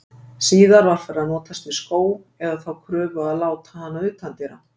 Síðar var farið að notast við skó, eða þá körfu og láta hana utandyra.